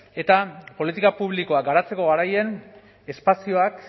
eta politika publikoak garatzeko garaian espazioak